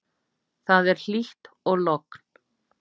Það er hlýtt og logn.